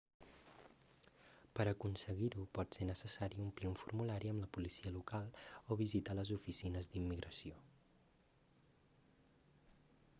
per aconseguir-ho pot ser necessari omplir un formulari amb la policia local o visitar les oficines d'immigració